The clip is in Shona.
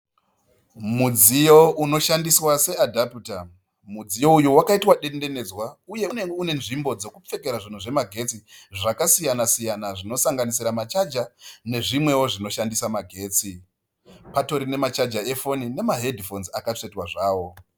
Mudziyo unoshandiswa seadhaputa. Mudziyo uyu wakaita dendenedzwa uye une nzvimbo dzekupfekera zvinhu zvemagetsi zvakasiyana siyana zvinosanganisira machaja nezvimwewo zvinoshandisa magetsi. Patori nemachaja efoni nemahedhifonzi akatsvetwa zvawo.